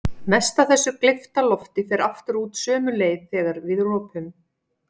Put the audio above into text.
Mest af þessu gleypta lofti fer aftur út sömu leið þegar við ropum.